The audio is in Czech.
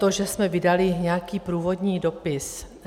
To, že jsme vydali nějaký průvodní dopis.